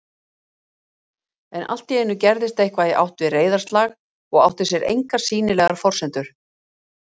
En alltíeinu gerðist eitthvað í ætt við reiðarslag og átti sér engar sýnilegar forsendur